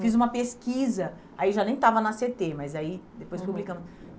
Fiz uma pesquisa, aí já nem estava na cê tê, mas aí depois publicamos.